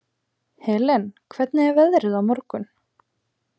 Helen, hvernig er veðrið á morgun?